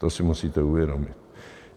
To si musíte uvědomit.